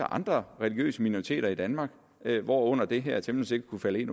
andre religiøse minoriteter i danmark hvorunder det her temmelig sikkert kunne falde ind